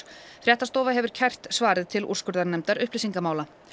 fréttastofa hefur kært svarið til úrskurðarnefndar upplýsingamála